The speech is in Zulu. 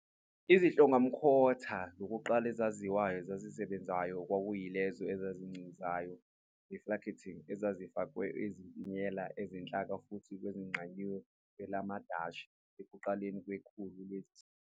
Izihlongamkhathi zokuqala ezaziwayo ezisebenzayo kwakuyilezo ezigwincizayo, "refracting", ezazifakelwe izififiyela zenhlaka futhi ezaziqanjwe kwelamaDashi ekuqaleni kwekhulu le.